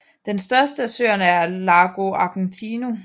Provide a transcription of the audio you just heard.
Den største af søerne er Lago Argentino